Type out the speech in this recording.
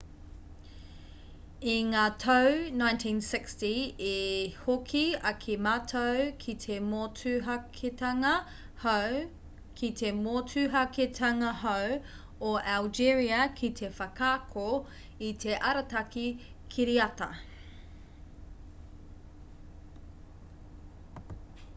i ngā tau 1960 i hoki ake mātou ki te motuhaketanga-hou o algeria ki te whakaako i te arataki kiriata